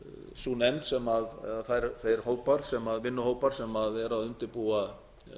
sú nefnd sem þeir vinnuhópar sem eru að undirbúa